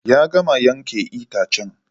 Ya gama yanke itacen